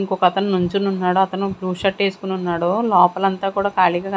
ఇంకొకతను నించొని ఉన్నాడు అతను బ్లూ షర్ట్ వేసుకొని ఉన్నాడు లోపల అంత కూడా కాళీగా కం--